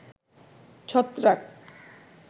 ছত্রাক